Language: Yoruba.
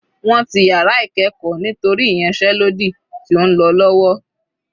Wọ́n ti yàrá ìkẹ́ẹ̀kọ́ nítorí ìyánsẹ́lódì tí ó ń lọ lọ́wọ́.